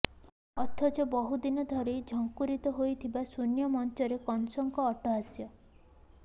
ଅଥଚ ବହୁଦିନ ଧରି ଝଙ୍କୁରିତ ହେଉଥାଏ ଶୂନ୍ୟମଞ୍ଚରେ କଂସଙ୍କ ଅଟ୍ଟହାସ୍ୟ